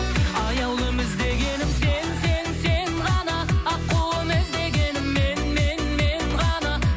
аяулым іздегенім сен сен сен ғана аққуым іздегенің мен мен мен ғана